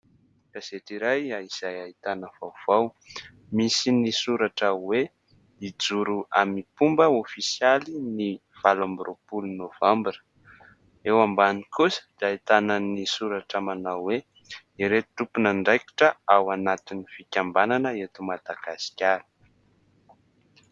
Gazety iray izay ahitana vaovao ; misy ny soratra hoe hijoro amim-pomba ofisialy ny valo amby roa polo novambra. Eo ambany kosa dia ahitana ny soratra manao hoe ireo tompon'andraikitra ao anatin'ny fikambanana eto Madagasikara.